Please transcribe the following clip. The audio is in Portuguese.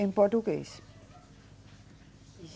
Em português.